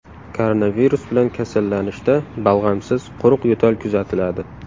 Koronavirus bilan kasallanishda balg‘amsiz, quruq yo‘tal kuzatiladi.